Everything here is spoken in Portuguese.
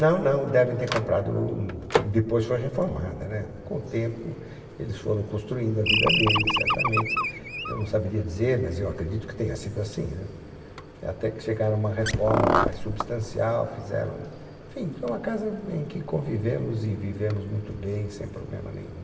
Não, não, devem ter comprado, depois foi reformada, com o tempo eles foram construindo a vida deles, certamente, eu não saberia dizer, mas eu acredito que tenha sido assim, até que chegaram a uma reforma mais substancial, fizeram, enfim, foi uma casa em que convivemos e vivemos muito bem, sem problema nenhum.